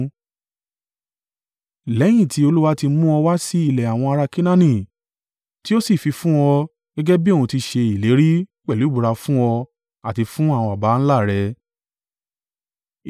“Lẹ́yìn tí Olúwa tí mú ọ wá sí ilẹ̀ àwọn ará Kenaani tí ó sì fi fún ọ gẹ́gẹ́ bí òun ti ṣe ìlérí pẹ̀lú ìbúra fún ọ àti fún àwọn baba ńlá rẹ̀,